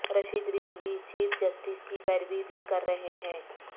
Rashid Rizvi chief justice کی پیروری بھی کر رہے ہیں